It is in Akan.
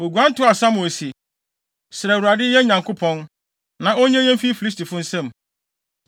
Woguan toaa Samuel se, “Srɛ Awurade, yɛn Nyankopɔn, na onnye yɛn mfi Filistifo nsam.”